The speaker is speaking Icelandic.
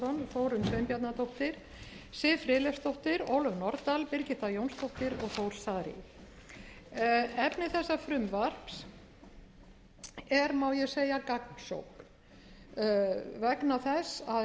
þórunn sveinbjarnardóttir siv friðleifsdóttir ólöf nordal birgitta jónsdóttir og þór saari efni þessa frumvarps er má ég segja gagnsókn vegna þess að